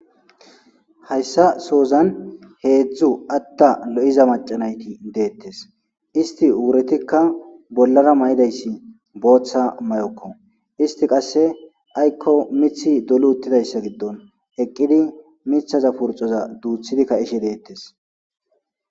Hayssa soozan heedzdzu atta lo7iza macanayti deettes isti wuretikka bollara ma7idayssi booththa may7okko isti qasse aykko mithi dolu uttidayssa giddon eqqidi mithaza purxoza duuthidikka ishe deettes.